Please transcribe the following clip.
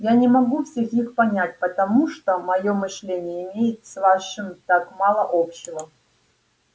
я не могу всех их понять потому что моё мышление имеет с вашим так мало общего